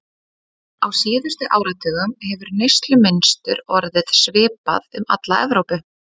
Á síðustu áratugum hefur neyslumynstur orðið svipað um alla Evrópu.